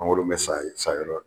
Mangoro in bɛ sa sayɔrɔ